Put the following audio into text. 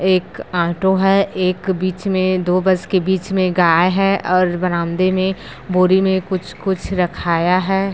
एक ऑटो है एक बीच में दो बस के बीच में गाय है और बरामदे में बोरी में कुछ कुछ रखाया है।